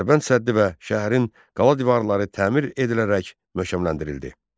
Dərbənd səddi və şəhərin qala divarları təmir edilərək möhkəmləndirildi.